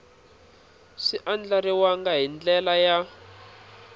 swi andlariwangi hi ndlela ya